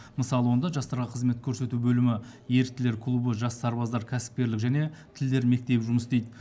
мысалы онда жастарға қызмет көрсету бөлімі еріктілер клубы жас сарбаздар кәсіпкерлік және тілдер мектебі жұмыс істейді